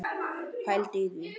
Pældu í því.